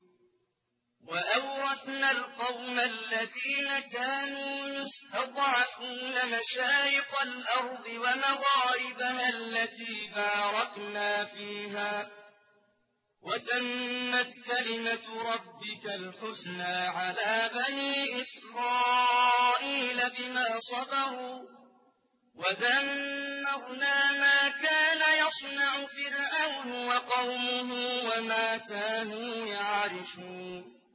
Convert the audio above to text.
وَأَوْرَثْنَا الْقَوْمَ الَّذِينَ كَانُوا يُسْتَضْعَفُونَ مَشَارِقَ الْأَرْضِ وَمَغَارِبَهَا الَّتِي بَارَكْنَا فِيهَا ۖ وَتَمَّتْ كَلِمَتُ رَبِّكَ الْحُسْنَىٰ عَلَىٰ بَنِي إِسْرَائِيلَ بِمَا صَبَرُوا ۖ وَدَمَّرْنَا مَا كَانَ يَصْنَعُ فِرْعَوْنُ وَقَوْمُهُ وَمَا كَانُوا يَعْرِشُونَ